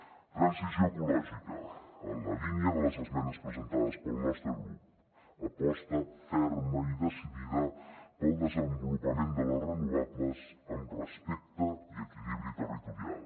transició ecològica en la línia de les esmenes presentades pel nostre grup aposta ferma i decidida pel desenvolupament de les renovables amb respecte i equilibri territorial